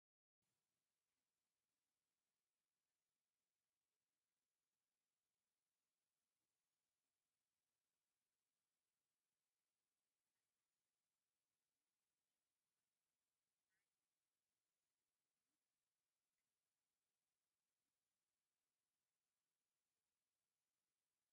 ሓንቲ ብደንቢ ተመላኪዓ ዝቐረበት ጓል ኣንስተይቲ ከም ምሽኩርማም ዝመስል ስምዒት ብዝፈጥር ቁመና ፎቶ ተላዒላ ኣላ፡፡ እዚ ምሽኩርማም ነዓይ ኦሕንቅቑኒ ከም ምባል መሲሉ እዩ ዝስምዐኒ፡፡